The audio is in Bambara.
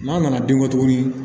N'an nana den bɔ tuguni